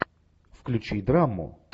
включи драму